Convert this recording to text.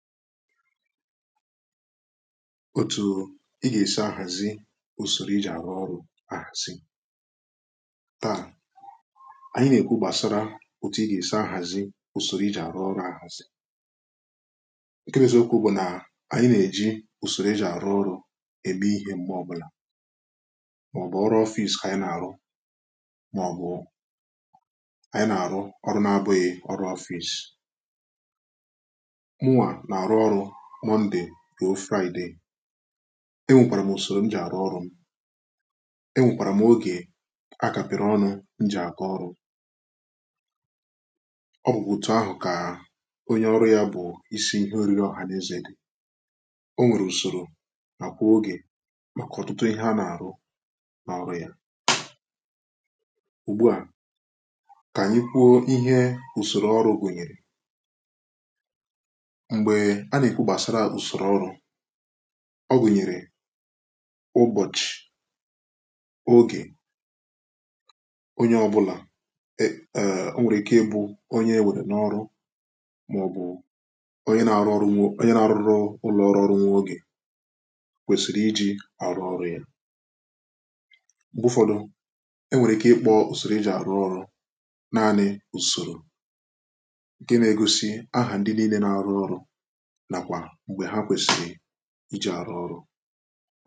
otu ị ga-èsi ahàzi ùsòrò i jì àrụ ọrụ̇ àhàzi taa ànyị nà-èkwu gbàsara òtù ị gà-èsi ahàzi ùsòrò i jì àrụ ọrụ̇ ahàzi ǹkẹ̀ nàzi okwu bụ̀ nà ànyị nà-èji ùsòrò i jì àrụ ọrụ̇ ème ihė m̀gbè ọ bụ̀là màọ̀bụ̀ ọrụ̇ ofìs kà ànyị nà-àrụ màọ̀bụ̀ ànyị nà-àrụ ọrụ na-abụghị ọrụ̇ ofìs mà ndị ruo fraịdị e nwèkwàrà m ùsòrò m jì àrụ ọrụ m e nwèkwàrà m ogè a kà pị̀rị ọnụ m jì àkọ ọrụ ọ bụ̀kwà òtù ahụ̀ kà onye ọrụ ya bụ̀ isi ihe orili ọ̀hànẹzẹ̀ dị̀ o nwèrè ùsòrò nà kwà ogè màkà ọ̀tụtụ ihe a nà àrụ n’ọrụ ya ùgbua kà ànyịkwuo ihe ùsòrò ọrụ gụ̀nyèrè a nà-èkpu gbàsara ùsòrò ọrụ ọ gụ̀nyèrè ụbọ̀chị̀ ogè onye ọ bụlà o nwèrè ike ị bụ onye nwèrè n’ọrụ màọ̀bụ̀ onye nà-arụ ọrụ nwo onye nà-arụ ọrụrụ ụlọ ọrụ ọrụ nwa ogè kwèsìrì iji̇ àrụ ọrụ ya m̀gbè ụfọ̀dụ̀ e nwèrè ike ịkpọ ùsòrò iji̇ àrụ ọrụ naanị ùsòrò ike nà-egosi ahụ̀ ndị nii̇lė nà-arụ ọrụ iji arụ ọrụ